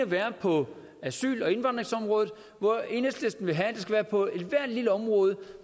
være på asyl og indvandringsområdet hvor enhedslisten vil have at det skal være på ethvert lille område